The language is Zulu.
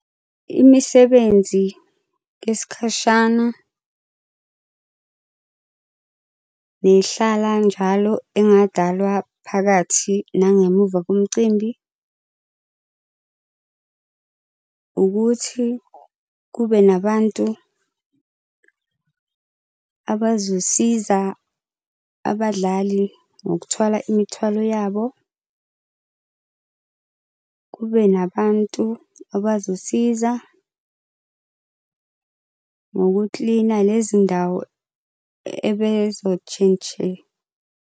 Imisebenzi yesikhashana bey'hlala njalo engadalwa phakathi nangemuva komcimbi ukuthi kube nabantu abazosiza abadlali ngokuthwala imithwalo yabo. Kube nabantu abazosiza ngokukilina lezi ndawo .